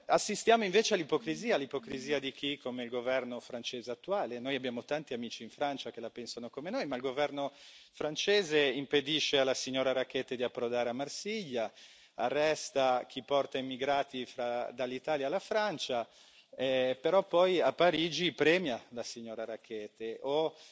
Assistiamo, invece, all'ipocrisia, all'ipocrisia di chi, come il governo francese attuale noi abbiamo tanti amici in Francia che la pensano come noi ma il governo francese impedisce alla signora Rackete di approdare a Marsiglia, arresta chi porta immigrati dall'Italia alla Francia, però poi a Parigi premia la signora Rackete o